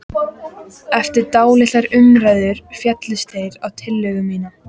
Eftir dálitlar umræður féllust þeir á tillögu mína.